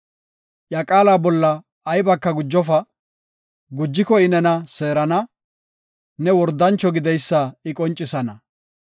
Iya qaala bolla aybaka gujofa; gujiko I nena seerana; ne wordancho gideysa I qoncisana.